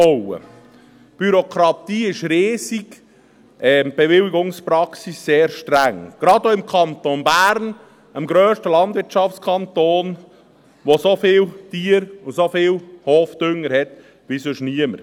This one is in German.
Die Bürokratie ist riesig, die Bewilligungspraxis sehr streng, gerade auch im Kanton Bern, dem grössten Landwirtschaftskanton, der so viele Tiere und so viel Hofdünger hat wie sonst keiner.